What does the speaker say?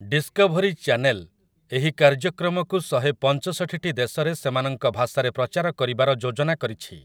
Discovery channel ଏହି କାର୍ଯ୍ୟକ୍ରମକୁ ଶହେ ପଞ୍ଚଷଠିଟି ଦେଶରେ ସେମାନଙ୍କ ଭାଷାରେ ପ୍ରଚାର କରିବାର ଯୋଜନା କରିଛି ।